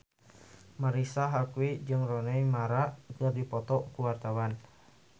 Marisa Haque jeung Rooney Mara keur dipoto ku wartawan